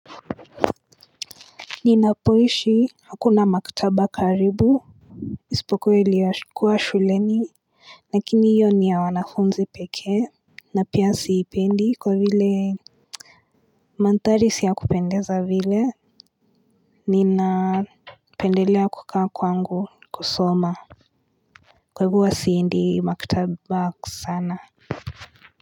Ninapoishi, hakuna maktaba karibu, isipokuwa iliyokuwa shuleni lakini hiyo niya wanafunzi pekee na pia siipendi kwa vile Manthari siya kupendeza vile Ninapendelea kukaa kwangu kusoma Kwa hivo huwa siendi maktaba sana.